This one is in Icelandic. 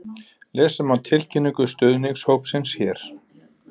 Lesa má tilkynningu stuðningshópsins hér